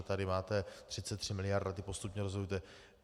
A tady máte 33 miliard a ty postupně rozdělujte.